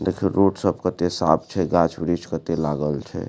देखयो road सब कते साफ़ छै गाछ-वृक्ष कते लागल छै।